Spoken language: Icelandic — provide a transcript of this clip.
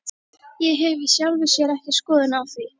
Ég hef í sjálfu sér ekki skoðun á því.